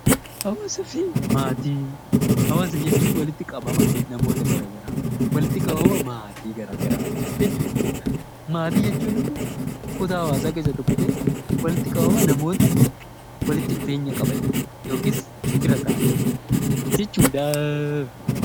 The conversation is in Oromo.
Hawaasa jechuun walitti qabama maatii garaagaraa jechuudha. Maatii jechuun immoo kutaa hawaasaa keessaa tokko ta'ee walitti qabama namoota walitti dhufeenya qabanii yookiis fira ta'anii jechuudha.